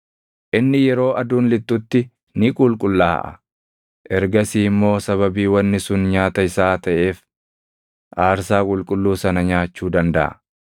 Inni yeroo aduun lixxutti ni qulqullaaʼa; ergasii immoo sababii wanni sun nyaata isaa taʼeef aarsaa qulqulluu sana nyaachuu dandaʼa.